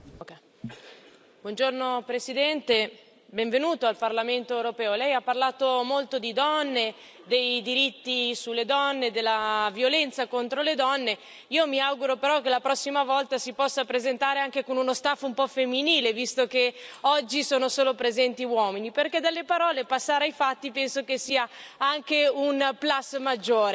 Signor Presidente, onorevoli colleghi, buongiorno Presidente, benvenuto al Parlamento europeo. Lei ha parlato molto di donne, dei diritti delle donne e della violenza contro le donne. Io mi auguro però che la prossima volta si possa presentare anche con uno staff un po' femminile, visto che oggi sono solo presenti uomini, perché dalle parole passare ai fatti penso che sia anche un plus maggiore, quindi